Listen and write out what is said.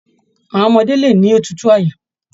Àwọn ọmọdé lè ní òtútù àyà.